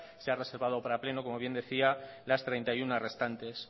se ha reservado para pleno como bien decía las treinta y uno restantes